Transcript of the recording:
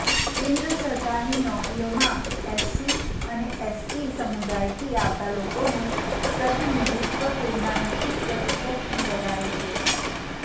કેન્દ્ર સરકારની નોકરીઓમાં એસસી અને એસટી સમુદાયથી આવતાં લોકોનું પ્રતિનિધિત્વ તેમના નક્કી પ્રતિશતથી વધારે છે